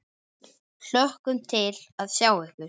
Hlökkum til að sjá ykkur.